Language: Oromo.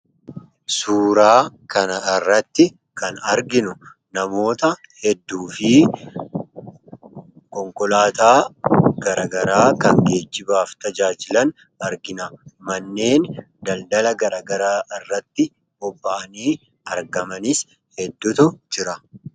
Suuraa kana irratti kan arginu namoota hedduu fi konkolaataa gara garaa kan geejjibaaf tajaajilan argina. Manneen daladala gara garaa irratti bobba'anii argamanii hedduutu jira.